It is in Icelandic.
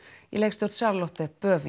í leikstjórn Charlotte Bøving